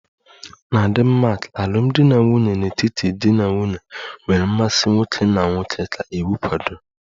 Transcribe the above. Na Denmark alụmdi na nwunye n'etiti di na nwunye nwere mmasị nwoke na nwanyị ka iwu kwadoro